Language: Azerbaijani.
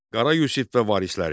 Qara Yusif və varisləri.